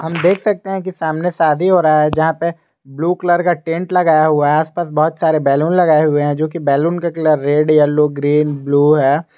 हम देख सकते हैं कि सामने शादी हो रहा है जहां पे ब्लू कलर का टेंट लगाया हुआ है आसपास बहुत सारे बैलून लगाए हुए हैं जोकि बैलून का colour red yellow green blue है।